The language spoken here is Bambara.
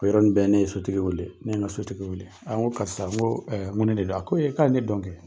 O yɔrɔ ni bɛ ne ye sotigi wele, ne ye n ka sotigi wele. An ko karisa n ko n ko ni de don wa, a ko k' a le don kɛ!